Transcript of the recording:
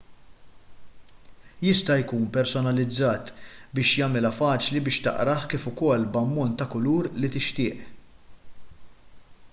jista' jkun personalizzat biex jagħmilha faċli biex taqrah kif ukoll b'ammont ta' kulur li tixtieq